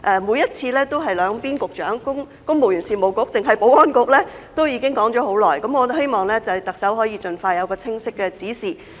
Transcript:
每次也在考究由公務員事務局局長抑或保安局局長負責，這問題已經討論了很久，我希望特首可以盡快有清晰的指示。